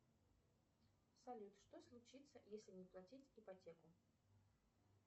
салют что случится если не платить ипотеку